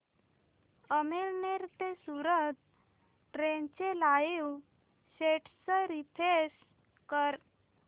अमळनेर ते सूरत ट्रेन चे live status refresh कर